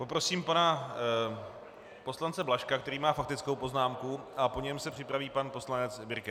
Poprosím pana poslance Blažka, který má faktickou poznámku, a po něm se připraví pan poslanec Birke.